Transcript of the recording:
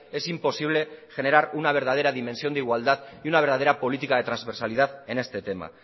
es imposible generar una verdadera dimensión de igualdad y una verdadera política de transversalidad en este tema